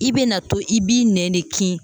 I be na to i b'i nɛn de kin